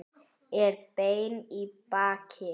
Er beinn í baki.